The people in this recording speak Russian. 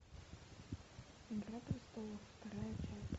игра престолов вторая часть